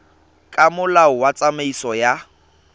ka molao wa tsamaiso ya